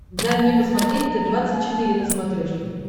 дай мне посмотреть т двадцать четыре на смотрешке